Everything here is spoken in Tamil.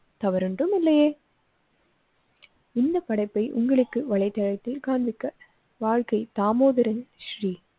தவறு ஒன்றுமில்லையே. இந்த படைப்பை உங்களுக்கு வலைதளத்தில் காண்பிக்க வாழ்க்கை தாமோதரன் ஸ்ரீ.